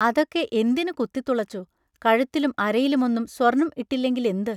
അതൊക്കെ എന്തിനു കുത്തിത്തുളച്ചു കഴുത്തിലും അരയിലും ഒന്നും സ്വർണം ഇട്ടില്ലെങ്കിലെന്ത്?